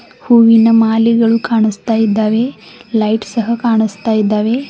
ಹೂವಿನ ಮಾಲೆಗಳು ಕಾಣಿಸ್ತಾ ಇದ್ದಾವೆ ಲೈಟ್ ಸಹ ಕಾಣಿಸ್ತಾ ಇದ್ದಾವೆ.